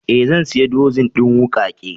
Eh zan siya dozin din wuƙake.